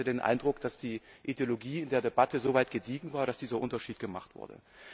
Ich hatte den Eindruck, dass die Ideologie in der Debatte so weit gediehen war, dass dieser Unterschied gemacht wurde.